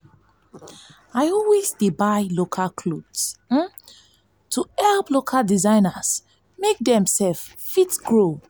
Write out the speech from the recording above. i always dey buy local clothes to help local designers and make them fit grow.